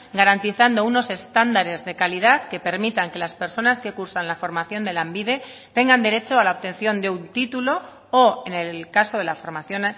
garantizando unos estándares de calidad que permitan que las personas que cursan la formación de lanbide tengan derecho a la obtención de un título o en el caso de la formación